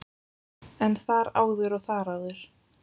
En þar áður og þar áður?